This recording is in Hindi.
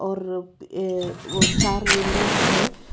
और वो अ ओ चार विंडोस है.